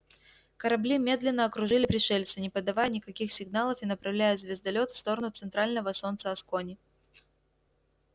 корабли медленно окружили пришельца не подавая никаких сигналов и направляя звездолёт в сторону центрального солнца аскони